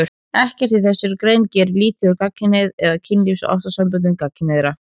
Ekkert í þessari grein gerir lítið úr gagnkynhneigð eða kynlífs- og ástarsamböndum gagnkynhneigðra.